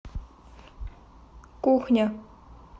кухня